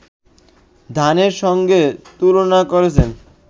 ধানের সঙ্গে তুলনা করেছেন